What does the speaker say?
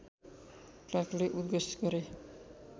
क्लार्कले उद्घोष गरे